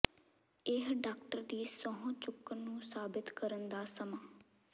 ਇਹ ਡਾਕਟਰ ਦੀ ਸਹੁੰ ਚੁੱਕਣ ਨੂੰ ਸਾਬਿਤ ਕਰਨ ਦਾ ਸਮਾਂ